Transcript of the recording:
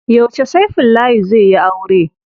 Yauce Saifullahi zai yi aure?